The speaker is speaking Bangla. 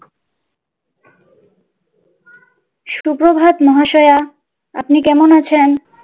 সুপ্রভাত মহাশয়া, আপনি কেমন আছেন?